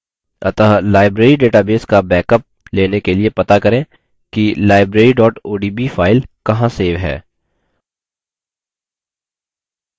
अतः library database का backup लेने के लिए पता करें कि library odb file कहाँ so है